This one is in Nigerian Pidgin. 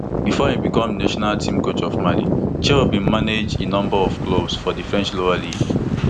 bifor e become di national team coach of mali chelle bin manage a number of clubs for di french lower league